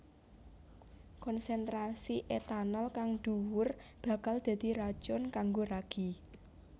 Konsentrasi etanol kang dhuwur bakal dadi racun kanggo ragi